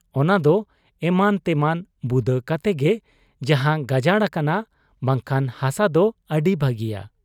ᱚᱱᱟᱫᱚ ᱮᱢᱟᱱ ᱛᱮᱢᱟᱱ ᱵᱩᱫᱟᱹ ᱠᱚᱛᱮᱜᱮ ᱡᱟᱦᱟᱸ ᱜᱟᱡᱟᱲ ᱟᱠᱟᱱᱟ ᱵᱟᱝᱠᱷᱟᱱ ᱦᱟᱥᱟᱫᱚ ᱟᱹᱰᱤ ᱵᱷᱟᱹᱜᱤᱭᱟ ᱾